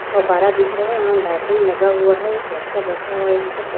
फब्बारा दिख रहा यहां लाइटिंग लगा हुआ है एक बच्चा बैठा हुआ यहां पर--